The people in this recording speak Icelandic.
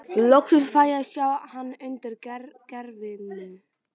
Loksins fæ ég að sjá hann undir gervinu.